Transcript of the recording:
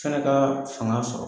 Fɛnɛ kaa fanga sɔrɔ